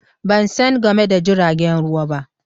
Ban san game da jiragen ruwa ba.